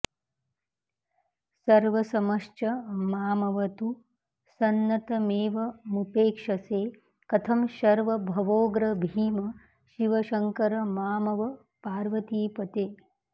सर्वसमश्च मामवतु सन्नतमेवमुपेक्षसे कथं शर्व भवोग्र भीम शिव शङ्कर मामव पार्वतीपते